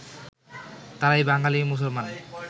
তাঁরাই বাঙালী মুসলমান